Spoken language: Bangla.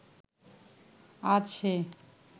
আজ সে